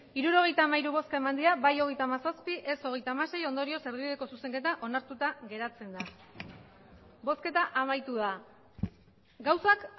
hirurogeita hamairu bai hogeita hamazazpi ez hogeita hamasei ondorioz erdibideko zuzenketa onartuta geratzen da bozketa amaitu da gauzak